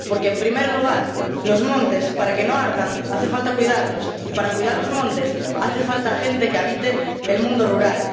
Porque, en primer lugar, los montes, para que no ardan, hace falta cuidarlos y, para cuidar los montes, hace falta gente que habite el mundo rural.